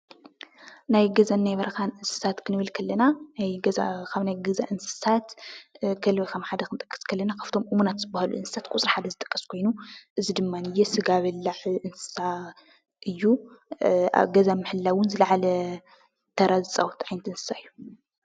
ናይ ገዛን ናይ በረካን እንስሳት ክንብል ከለና ካብ ናይ ገዛ እንስሳት ከልቢ ከም ሓደ ክንጠቅስ እንተለና ካብቶም እሙናት ዝበሃሉ እንስሳ ቁፅሪ ሓደ ዝጥቀስ ኮይኑ ፤ እዚ ድማ ስጋ በላዕ እንስሳ እዩ። ኣብ ገዛ ምሕላወ እውን ዝለዓለ ተራ ዝፃወት ዓይነት እንስሳ እዩ።